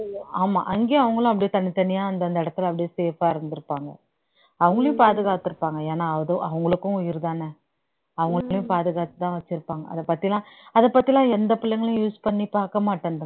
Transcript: ஆமா அங்கயும் அவங்களும் அப்படியே தனித்தனியா அந்தந்த இடத்துல அப்படியே safe ஆ இருந்திருப்பாங்க அவங்களையும் பாதுகாத்திருப்பாங்க ஏன்னா அதும் அவங்களுக்கும் உயிர்தானே அவங்களையும் பாதுகாத்துதான் வச்சிருப்பாங்க அதைப் பத்தி எல்லாம் அதைப் பத்தி எல்லாம் எந்த பிள்ளைங்களும் use பண்ணிப் பார்க்க மாட்டேன்றாங்க